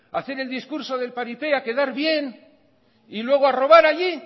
a hacer el discurso del paripé a quedar bien y luego a robar allí